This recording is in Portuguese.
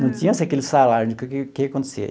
Não tinha assim aquele salário, o que que que acontecia?